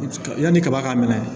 Yanni kaba ka minɛ